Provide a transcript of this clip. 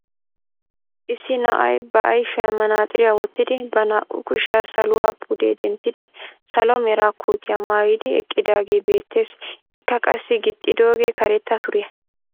Issi na'ay ba ayfiyaan manaaxiriyaa wottidi ba naa"u kushshiyaa saluwaa pude denttidi salo mera kootiyaa maayidi eqqidaagee beettees. Ikka qassi gixxidoogee karetta suriya.